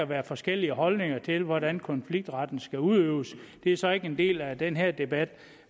være forskellige holdninger til hvordan konfliktretten skal udøves det er så ikke en del af den her debat